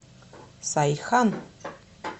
сайхан